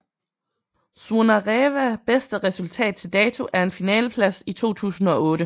Zvonareva bedste resultat til dato er en finaleplads I 2008